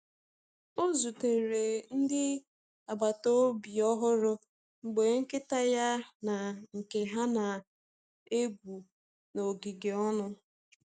Ọ zutere ndị agbata obi ọhụrụ mgbe nkịta ya na nke ha na-egwu n’ogige ọnụ.